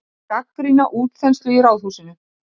Gagnrýna útþenslu í Ráðhúsinu